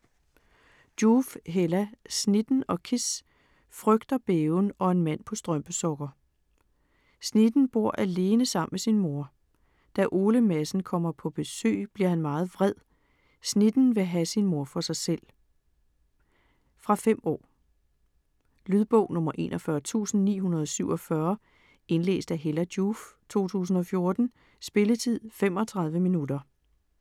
Joof, Hella: Snitten & Kis - frygt og bæven og en mand på strømpesokker Snitten bor alene sammen med sin mor. Da Ole Madsen kommer på besøg bliver han meget vred. Snitten vil have sin mor for sig selv. Fra 5 år. Lydbog 41947 Indlæst af Hella Joof, 2014. Spilletid: 0 timer, 35 minutter.